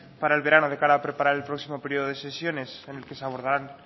para el verano de cara a preparar el próximo periodo de sesiones en el que se abordarán